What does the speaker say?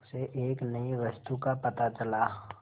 उसे एक नई वस्तु का पता चला